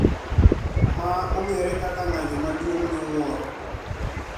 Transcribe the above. Ma ong`ere kaka ng`anyo maduong` miwuoro